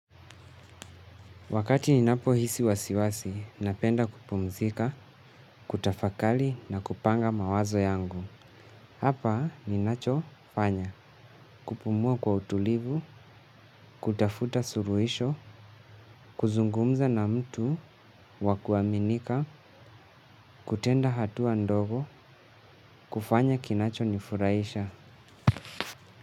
Wakati ninapohisi wasiwasi, napenda kupumzika, kutafakari na kupanga mawazo yangu. Hapa ninachofanya, kupumua kwa utulivu, kutafuta suluhisho, kuzungumza na mtu, wa kuaminika, kutenda hatua ndogo, kufanya kinachonifurahisha.